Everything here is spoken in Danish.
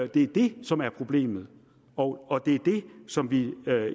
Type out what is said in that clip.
det er det som er problemet og det er det som vi